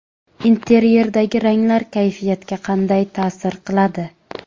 Interyerdagi ranglar kayfiyatga qanday ta’sir qiladi?.